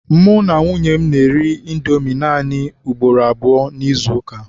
Mụ na nwunye m na-eri Indomi naanị ugboro abụọ n'izuụka.